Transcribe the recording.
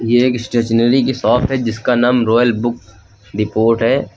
ये एक स्टेशनरी की शॉप है जिसका नाम रॉयल बुक डिपोट है।